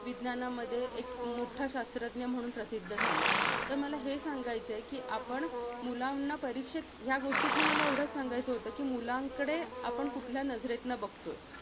विज्ञानामध्ये, एक मोठ्ठा शास्त्रज्ञ म्हणून प्रसिद्ध झाला. तर मला हे सांगायचं कि, आपण मुलांना परीक्षेत, ह्या गोष्टीतनं मला एवढचं सांगायचं होतं कि, मुलांकडे आपण कुठल्या नजरेतनं बघतोय.